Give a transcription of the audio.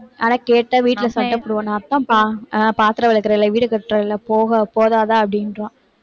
ஆனா, கேட்டா வீட்டுல சண்டை அஹ் பாத்திரம் விளக்கறேன் இல்லை, வீடு கூட்டறேன் இல்லை போக~ போதாதா